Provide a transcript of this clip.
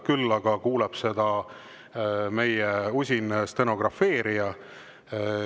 Küll aga kuulab seda meie usin stenografeerija.